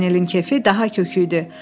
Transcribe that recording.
Paganelin keyfi daha kök idi.